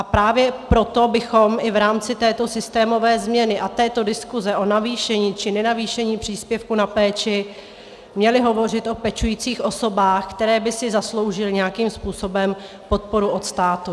A právě proto bychom i v rámci této systémové změny a této diskuze o navýšení či nenavýšení příspěvku na péči měli hovořit o pečujících osobách, které by si zasloužily nějakých způsobem podporu od státu.